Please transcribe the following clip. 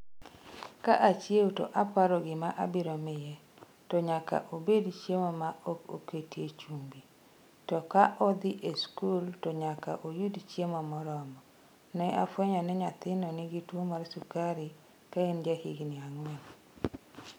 ' 'Ka achiewo to aparo gima abiro miye, to nyaka obed chiemo ma ok oketie chumbi, to ka odhi e skul to nyaka oyud chiemo moromo' Ne ofweny ni nyathino nigi tuwo mar sukari ka en jahigini ang'wen.